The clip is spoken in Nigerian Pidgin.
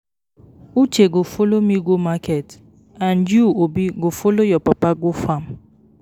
Uche go follow me go market and you Obi go follow your papa go farm